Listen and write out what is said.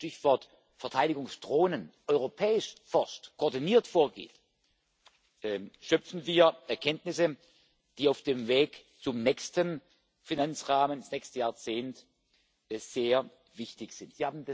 Wenn man Stichwort Verteidigungsdrohnen europäisch forscht, koordiniert vorgeht, schöpfen wir Erkenntnisse, die auf dem Weg zum nächsten Finanzrahmen, ins nächste Jahrzehnt sehr wichtig sind.